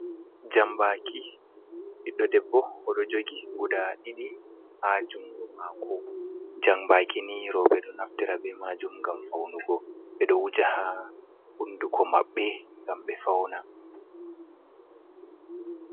Jambaaki ɓiɗɗo debbo o ɗo jogi guda ɗiɗi, haa jungo maako, jambaaki ni rooɓe ɗo naftira be maajum ngam faunugo, ɓe ɗo wuja haa hunduko maɓɓe ngam ɓe fauna.